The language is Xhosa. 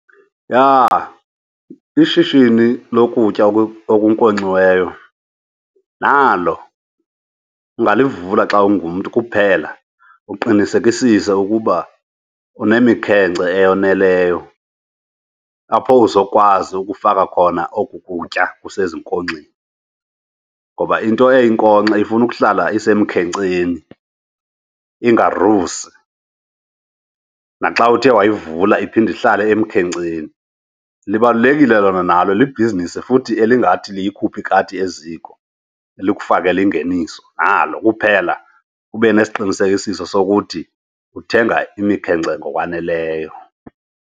Yha, ishishini lokutya okunkonkxiweyo nalo ungalivula xa ungumntu. Kuphela uqinisekisise ukuba unemikhence eyoneleyo apho uzokwazi ukufaka khona oku kutya kusezinkonxeni. Ngoba into eyinkonkxa ifuna ukuhlala isemkhenkceni ingarusi, naxa uthe wayivula iphinde ihlale emkhenkceni. Libalulekile lona nalo liyobhizinisi futhi elingathi liyikhuphe ikati eziko, likufakele ingeniso. Nalo kuphela ube nesiqinisekisiso sokuthi uthenga imikhekence ngokwaneleyo.